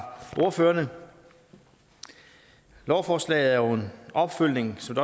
ordførerne lovforslaget er jo en opfølgning som